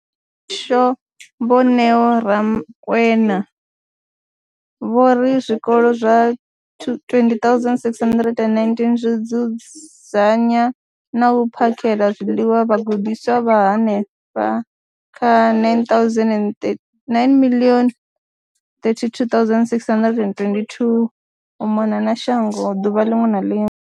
Hasho, Vho Neo Rakwena, vho ri zwikolo zwa 20 619 zwi dzudzanya na u phakhela zwiḽiwa vhagudiswa vha henefha kha 9 032 622 u mona na shango ḓuvha ḽiṅwe na ḽiṅwe.